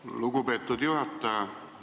Aitäh, lugupeetud juhataja!